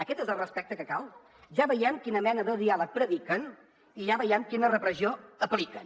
aquest és el respecte que cal ja veiem quina mena de diàleg prediquen i ja veiem quina repressió apliquen